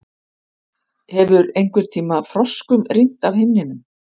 Hefur einhverntíma froskum rignt af himninum?